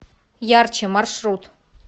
ярче маршрут